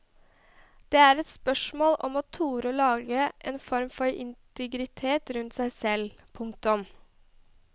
Det er spørsmål om å tore å lage en form for integritet rundt seg selv. punktum